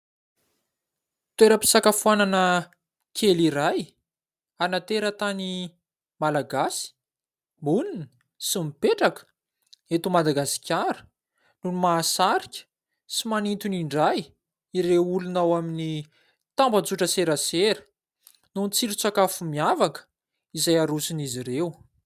Toeram-pisakafoanana kely iray ana teratany malagasy monina sy mipetraka eto Madagasikara no mahasarika sy manintona indray ireo olona ao amin'ny tambajotra serasera noho ny tsiron-tsakafo miavaka izay arosony izy ireo.